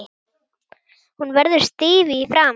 Hún verður stíf í framan.